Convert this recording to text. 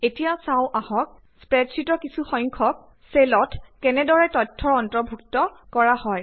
এতিয়া চাওঁ আহক স্প্ৰেডশ্বিটৰ কিছুসংখ্যক চেলত কেনেদৰে তথ্যৰ অন্তৰ্ভুক্ত কৰা হয়